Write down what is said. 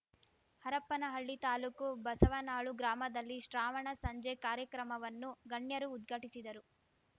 ಹರಪ್ಪನಹಳ್ಳಿ ತಾಲೂಕು ಬಸವನಾಳು ಗ್ರಾಮದಲ್ಲಿ ಶ್ರಾವಣ ಸಂಜೆ ಕಾರ್ಯಕ್ರಮವನ್ನು ಗಣ್ಯರು ಉದ್ಘಾಟಿಸಿದರು